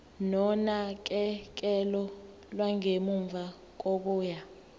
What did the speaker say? nonakekelo lwangemuva kokuya